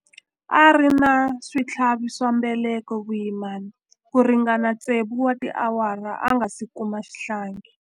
A ri na switlhavi swa mbeleko vuyimani ku ringana tsevu wa tiawara a nga si kuma xihlangi.